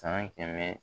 San kɛmɛ